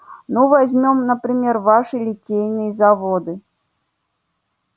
ну возьмём например ваши литейные заводы